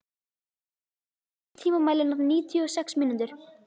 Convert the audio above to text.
Alex, stilltu tímamælinn á níutíu og sex mínútur.